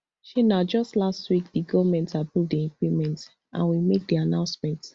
shey na just last week di goment approve di increment and we make di announcement